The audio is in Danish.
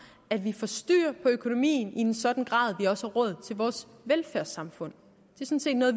at vi få styr på økonomien i en sådan grad at vi også har råd til vores velfærdssamfund